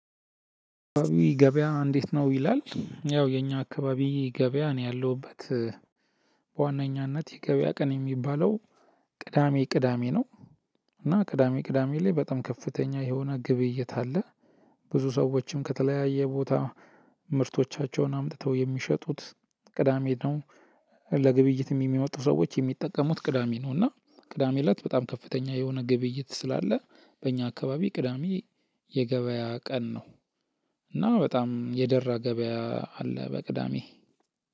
አካባቢ ገበያ እንዴት? ነው ይላል ያው የኛ አካባቢ ገበያ እኔ ያለሁበት በዋነኛነት የገበያ ቀን የሚባለው ቅዳሜ ቅዳሜ ነው። እና ቅዳሜ ቅዳሜ ላይ በጣም ከፍተኛ የሆነ ግብይት አለ። ብዙ ሰዎችም ከተለያየ ቦታ ምርቶቻቸውን አምጥተው የሚሸጡት ቅዳሜ ነው። ለግብይት የሚመጡ ሰዎች የሚጠቀሙት ቅዳሜ ነው። እና ቅዳሜ እለት በጣም ከፍተኛ የሆነ ግብይት ስላለ በእኛ አካባቢ ቅዳሜ የገበያ ቀን ነው። እና በጣም የደራ ገበያ አለ በቅዳሜ።